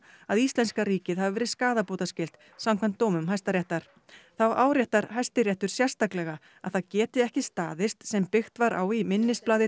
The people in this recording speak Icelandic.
að íslenska ríkið hafi verið skaðabótaskylt samkvæmt dómum Hæstaréttar þá áréttar Hæstiréttur sérstaklega að það geti ekki staðist sem byggt var á í minnisblaði